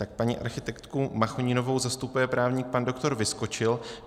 Tak paní architektku Machoninovou zastupuje právník pan doktor Vyskočil.